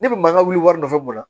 Ne bɛ mankan wuli wari wari nɔfɛ mun na